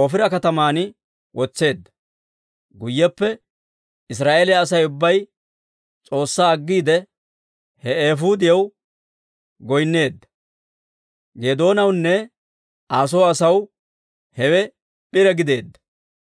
Oofira kataman wotseedda. Guyyeppe Israa'eeliyaa Asay ubbay S'oossaa aggiide, he eefuudiyaw goynneedda; Geedoonawunne Aa soo asaw hewe p'ire gideedda.